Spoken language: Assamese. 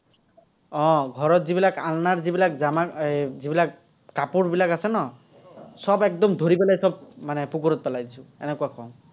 উম ঘৰত যিবিলাক আলনাৰ যিবিলাক এৰ যিবিলাক কাপোৰবিলাক আছে ন, চব একদম ধৰি পেলাই চব মানে পেলাই দিছো। এনেকুৱা খং।